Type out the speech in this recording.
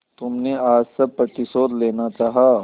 तुमने आज सब प्रतिशोध लेना चाहा